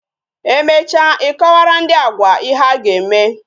Emecha I kọwara ndị Agwa ihe a ga-eme